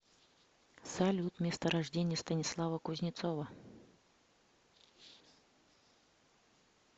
салют место рождения станислава кузнецова